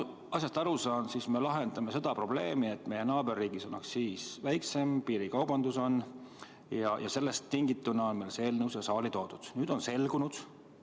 Nagu ma asjast aru saan, siis me lahendame probleemi, et meie naaberriigis on aktsiis väiksem, meil on piirikaubandus ja sellest tingituna on meil see eelnõu siin saalis.